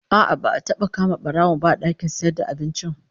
A'a, ba'a taba kama barawon, ba a dakin sayarvda abincin